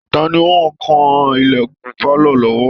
Ta ni ó ń kan ìlẹ̀kùn pálọ̀ lọ́wọ́